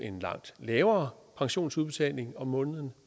en langt lavere pensionsudbetaling om måneden